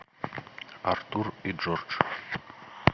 артур и джордж